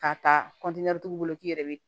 K'a ta kɔntiniyera togo bolo k'i yɛrɛ be